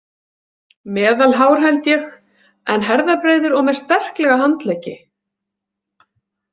Meðalhár held ég en herðabreiður og með sterklega handleggi.